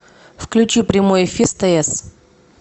включи прямой эфир стс